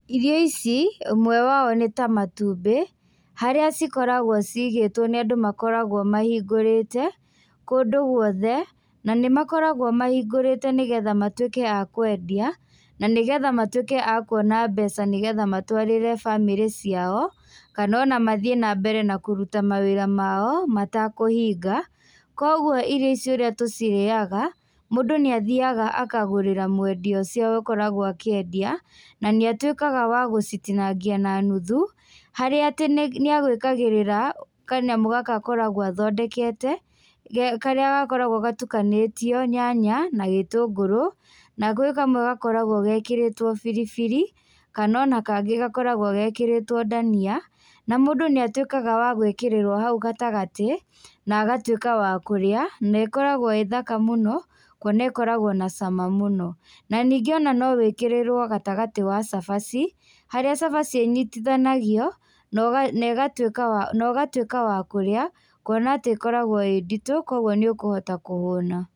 Irio ici, ũmwe wao nĩta matumbĩ, harĩa cikoragwo ciigĩtwo nĩ andũ makoragwo mahingũrĩte, kũndũ guothe, na nĩmakoragwo mahingũrĩte nĩgetha matwíke a kwendia, na nĩgetha matuĩke a kuona mbeca nĩgetha matwarĩre bamĩrĩ ciao, kana ona mathiĩ nambere na kũruta mawĩra mao matakũhinga, kwoguo irio ici ũrĩa tũcirĩaga, mũndũ nĩathiaga akagũrĩra mwendia ũcio akoragwo akĩendia, na nĩatuĩkaga wa gũcitinangia na nuthu, harĩa atĩ nĩa, nĩagwĩkagĩrĩra kanyamũ gaka akoragwo athondekete, ge karĩa gakoragwo gatukanĩtio nyanya, gĩtũngũrũ, na gwĩ kamwe gakoragwo gekĩrĩtwo biribiri, kanona kangĩ gakoragwo gekĩrĩtwo ndania, na mũndũ nĩatwĩkaga wa gwĩkĩrĩrwo hau gatagatĩ, na agatuĩka wa kũrĩa, naĩkoragwo ĩthaka mũno, kuona ĩkoragwo na cama mũno. Na ningĩ ona nowĩkĩrĩrwo gatagatĩ wa cabaci, harĩa cabaci ĩnyitithanagio, noga negatwĩka wa nogatwĩka wa kũrĩa, kuona atĩ ĩkoragwo ĩ nditũ kũoguo nĩũkũhota kũhũna.